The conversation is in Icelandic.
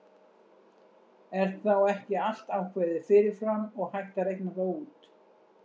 Er þá ekki allt ákveðið fyrir fram og hægt að reikna það út?